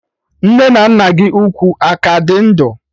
Nne na nna gị ukwu aka dị ndụ?